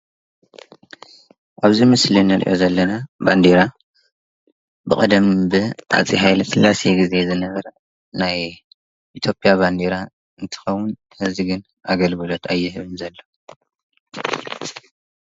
ኣብዚ ምስሊ አንርእዮ ዘለና ባንዴራ ብቀደም ብሃፄ ሃይለስላሴ ግዜ ዝነበረ ናይ ኢትዮጵያ ባንዴራ እንትኾን ሒዚ ግን ኣገልግሎት ኣይህብን ዘሎ።